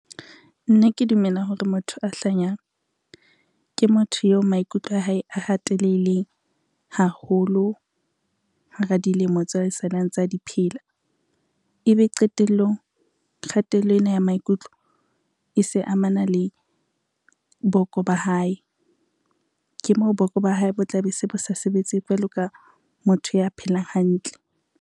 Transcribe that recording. Nna ke dumela hore motho a hlanyang, ke motho eo maikutlo a hae a hateleileng haholo hara dilemo tse a e saleng a ntsa di phela, ebe qetellong kgatello ena ya maikutlo e se amana le boko ba hae. Ke moo boko ba hae bo tla be se bo sa sebetse jwalo ka motho ya phelang hantle.